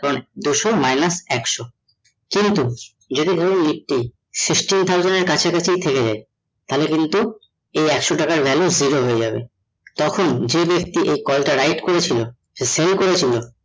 দুশ minus একশ কিন্তু যদি ধরুন nifty sixteen thousand এর কাছাকাছি থেকে যায় তাহলে কিন্তু এই একশ টাকার value zero হয়ে যাবে তখন যে ব্যাক্তি এই call টা right করেছিল সে sell করেছিল